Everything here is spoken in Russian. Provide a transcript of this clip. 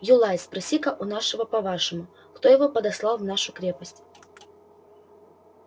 юлай спроси-ка у нашего по-вашему кто его подослал в нашу крепость